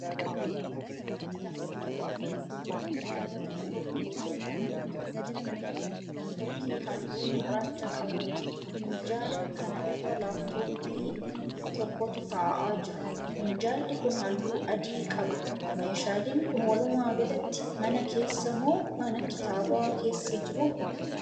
Bakka kanatti kan mul'atu fakkii minjaala tokkoo fi teessuma nam-tokkee halluu gurraacha qabuuti. Minjaala kana irra 'Laaptooppii' tokkotu ta'aa jira. Minjaalli kun halluu adii qaba. Meeshaaleen kun walumaa galatti mana keessa moo mana kitaabaa keessa jiru?